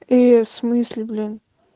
ээ всмысле блин